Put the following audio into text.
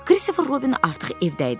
Kristofer Robin artıq evdə idi.